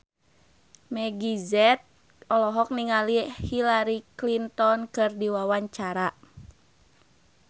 Meggie Z olohok ningali Hillary Clinton keur diwawancara